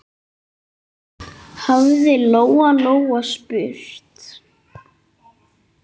hafði Lóa-Lóa spurt.